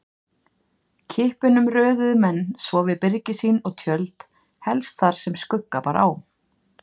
Kippunum röðuðu menn svo við byrgi sín og tjöld, helst þar sem skugga bar á.